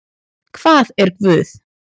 Hvað er guð?